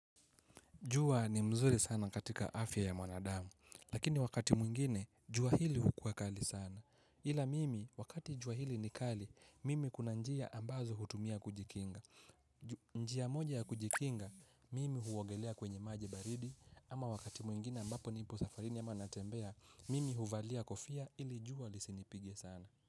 Jua ni mzuri sana katika afya ya mwanadamu, lakini wakati mwingine, jua hili hukuwa kali sana. Ila mimi, wakati jua hili ni kali, mimi kuna njia ambazo hutumia kujikinga. Njia moja ya kujikinga, mimi huogelea kwenye maji baridi, ama wakati mwingine ambapo nipo safarini ama natembea, mimi huvalia kofia ili jua lisinipige sana.